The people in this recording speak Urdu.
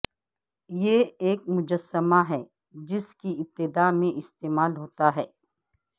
یہ ایک مجسمہ ہے جس کی ابتداء میں استعمال ہوتا ہے